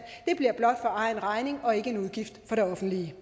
det bliver blot for egen regning og ikke en udgift for det offentlige